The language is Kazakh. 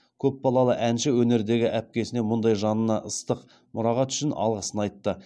көпбалалы әнші өнердегі әпкесіне мұндай жанына ыстық мұрағат үшін алғысын айтты